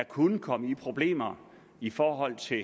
kunne komme i problemer i forhold til